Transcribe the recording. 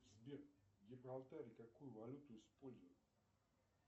сбер в гибралтаре какую валюту используют